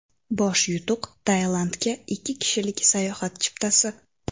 Bosh yutuq Tailandga ikki kishilik sayohat chiptasi!